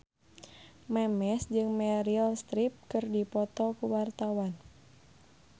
Memes jeung Meryl Streep keur dipoto ku wartawan